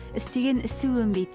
істеген ісі өнбейді